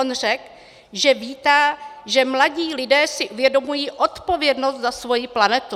On řekl, že vítá, že mladí lidé si uvědomují odpovědnost za svoji planetu.